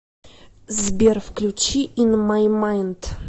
сбер включи ин май майнд